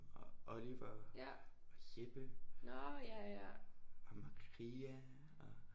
Og Oliver og Jeppe og Maria og